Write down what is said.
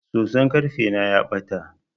Soson karfe na ya bata.